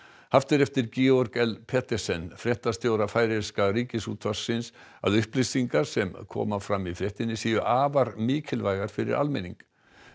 haft er eftir Georg l Petersen fréttastjóra færeyska Ríkisútvarpsins að upplýsingar sem koma fram í fréttinni séu afar mikilvægar fyrir almenning